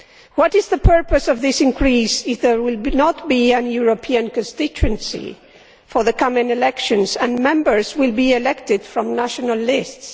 What is the purpose of this increase if there will not be a European constituency in the coming elections and Members will be elected from national lists?